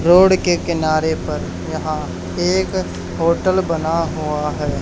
Road के किनारे पर यहां एक होटल बना हुआ हैं।